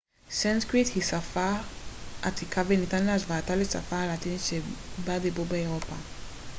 סנסקריט היא שפה עתיקה וניתן להשוותה לשפה הלטינית שבה דיברו באירופה